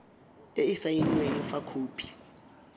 e e saenweng fa khopi